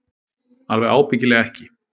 Alveg ábyggilega ekki.